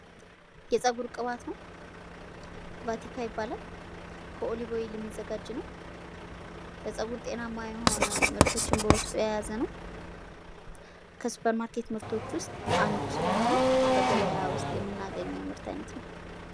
የጸጉር ቅባት ነው። ቫቲካ ይባላል። ከኦሊቮ የሚዘጋጅ ነው። ለጸጉር ጤናማ የሆነ ምርቶችን በውስጡ የያዘ ነው። ከሱፐር ማርኬት ምርቶች ውስጥ አንዱ ስለሆነ በገበያ ውስጥ የምናገኘው የምርት አይነት ነው።